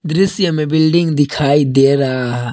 दृश्य में बिल्डिंग दिखाई दे रहा--